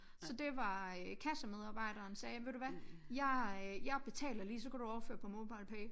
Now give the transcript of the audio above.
Så det var øh kassemedarbejderen sagde ved du hvad jeg jeg betaler lige så kan du overføre på Mobilepay